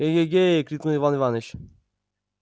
э-ге-ге крикнул иван иваныч